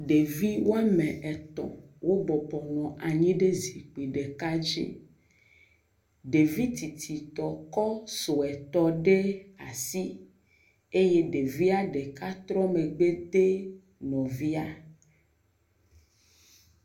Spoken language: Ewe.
Ɖevi wo ame etɔ̃ wobɔbɔ nɔ anyi ɖe zikpui ɖeka dzi. Ɖevi tsitsitɔ kɔ suetɔ ɖe asi eye ɖevia ɖeka trɔ megbe de nɔvia.